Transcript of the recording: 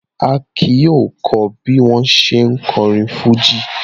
Akin yóò kọ́ bí wọ̀n ṣe ń kọrin fújì.